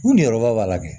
Ko nin yɔrɔba b'a la dɛ